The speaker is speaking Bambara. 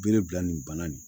Bere bila nin bana nin